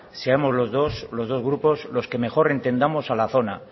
seamos los dos los dos grupos los que mejor entendamos a la zona